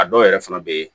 A dɔw yɛrɛ fana bɛ yen